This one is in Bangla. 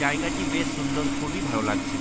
জায়গাটি বেশ সুন্দর খুবই ভালো লাগছে।